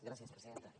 gràcies presidenta